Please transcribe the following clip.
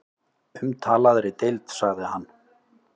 Umtalaðri deild sagði hann.